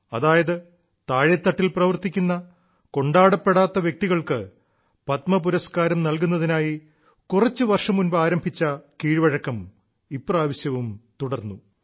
അതായത് താഴേത്തട്ടിൽ പ്രവർത്തിക്കുന്ന കൊണ്ടാടപ്പെടാത്ത വ്യക്തികൾക്ക് പത്മ പുരസ്കാരം നൽകുന്നതിനായി കുറച്ചു വർഷം മുൻപ് ആരംഭിച്ച കീഴ്വഴക്കം ഇപ്രാവശ്യവും തുടർന്നു